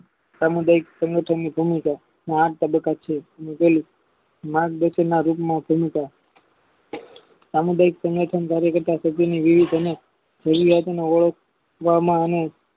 સમુદાય સંગઠન ની ભૂમિકાના આ તબક્કા છે નાગદાસનન માં ચિંતક સામુદાયિક સંગઠન કાર્ય કરતા અને